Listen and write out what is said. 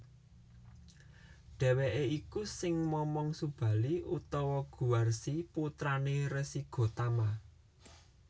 Dheweke iku sing momong Subali utawa Guwarsi putrané Resi Gotama